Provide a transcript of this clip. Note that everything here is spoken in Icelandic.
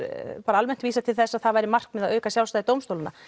bara almennt vísað til þess að það væri markmið að auka sjálfstæði dómstólanna